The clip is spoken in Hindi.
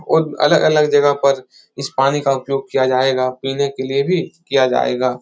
और अलग - अलग जगह पर इस पानी का उपयोग किया जायेगा पीने के लिए भी किया जायेगा।